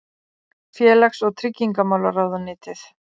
Félags- og tryggingamálaráðuneytið.